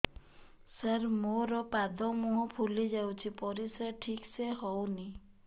ସାର ମୋରୋ ପାଦ ମୁହଁ ଫୁଲିଯାଉଛି ପରିଶ୍ରା ଠିକ ସେ ହଉନି